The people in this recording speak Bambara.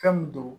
Fɛn min don